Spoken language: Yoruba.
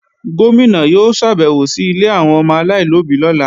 Gómìnà yóò ṣàbèwò sí ilé àwọn ọmọ aláìlóbí lọ́la